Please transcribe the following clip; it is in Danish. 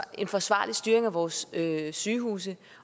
en forsvarlig styring af vores sygehuse